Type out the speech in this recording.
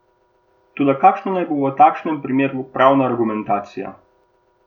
Toda kakšna naj bo v takšnem primeru pravna argumentacija?